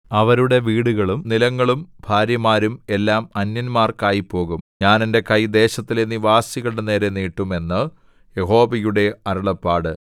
അവരുടെ വീടുകളും നിലങ്ങളും ഭാര്യമാരും എല്ലാം അന്യന്മാർക്ക് ആയിപ്പോകും ഞാൻ എന്റെ കൈ ദേശത്തിലെ നിവാസികളുടെ നേരെ നീട്ടും എന്ന് യഹോവയുടെ അരുളപ്പാട്